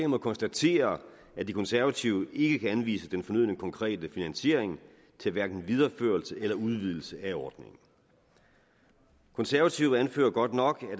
må konstatere at de konservative ikke kan anvise den fornødne konkrete finansiering til hverken videreførelse eller udvidelse af ordningen konservative anfører godt nok